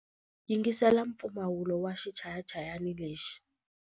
Yingisela mpfumawulo wa xichayachayani lexi.